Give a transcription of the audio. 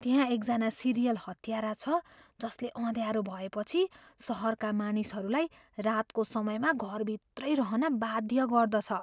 त्यहाँ एकजना सिरियल हत्यारा छ जसले अँध्यारो भएपछि सहरका मानिसहरूलाई रातको समयमा घरभित्रै रहन वाध्य गर्दछ।